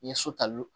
N ye so tali